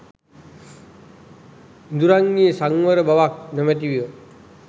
ඉඳුරන්හි සංවර බවක් නොමැතිව